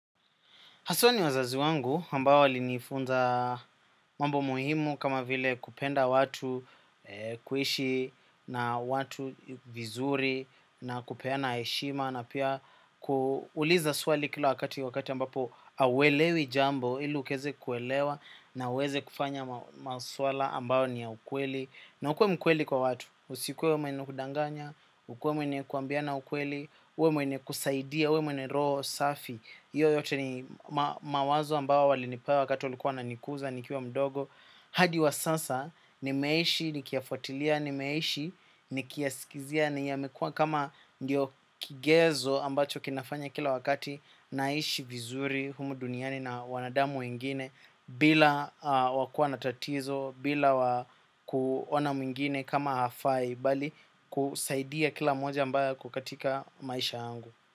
Haswa ni wazazi wangu ambao walinifunza mambo muhimu kama vile kupenda watu kuishi na watu vizuri na kupeana heshima na pia kuuliza swali kila wakati wakati ambapo hauelewi jambo ili ukieza kuelewa na uweze kufanya maswala ambao ni ya ukweli. Na ukuwe mkweli kwa watu usikuwe mwenye kudanganya ukuwe mwenye kuambiana ukweli uwe mwenye kusaidia uwe mwenye roho safi hiyo yote ni mawazo ambayo walinipea wakati walikuwa wananikuza nikiwa mdogo hadi wa sasa nimeishi nikiyafuatilia nimeishi nikiyaskizia ni yamekuwa kama ndio kigezo ambacho kinafanya kila wakati naishi vizuri humu duniani na wanadamu wengine bila wakua na tatizo, bila wa kuona mwingine kama hafai bali ku saidia kila moja ambaye ako katika maisha yangu.